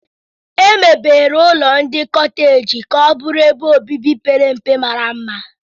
Emebere ụlọ ndị koteeji ka ọ bụrụ ebe obibi pere mpe mara mma.